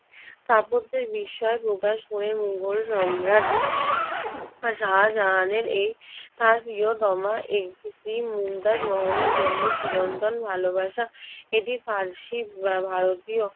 স্থাপত্যে বিস্ময় প্রকাশ করে মোগল সম্রাট শাহজাহানের এই তার প্রিয়তমা স্ত্রী মমতাজ মহলের জন্য চিরন্তন ভালোবাসা এটি ফারসি-ভারতীয়